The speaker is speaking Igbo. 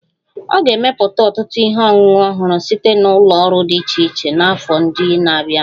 A ga-emepụta ọtụtụ ihe ọṅụṅụ ọhụrụ site na ụlọ ọrụ dị iche iche n'afọ ndị na-abịanụ